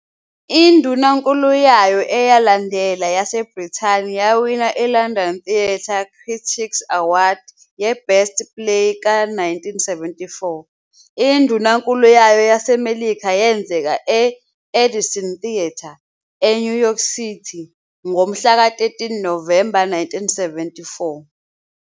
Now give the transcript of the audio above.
Indunankulu yayo eyalandela yaseBrithani yawina i-London Theatre Critics Award ye-Best Play ka-1974 Indunankulu yayo yaseMelika yenzeka e- Edison Theatre, eNew York City, ngomhlaka 13 Novemba 1974.